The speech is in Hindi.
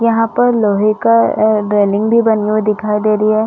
यहाँ पर लोहे का आ रेलिंग भी बनी हुई दिखाई दे रही है।